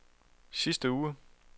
sidste uge